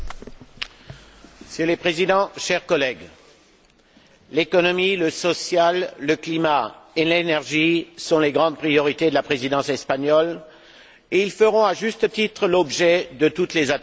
Monsieur le Président, chers collègues, l'économie, le social, le climat et l'énergie sont les grandes priorités de la Présidence espagnole et ils feront à juste titre l'objet de toutes les attentions de l'Europe.